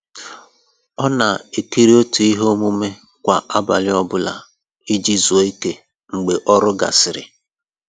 Ọ na ekiri otu ihe omume kwa abalị ọ bụla iji zuo ike mgbe ọrụ gasịrị